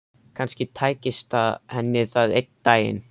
Kannski tækist henni það einn daginn.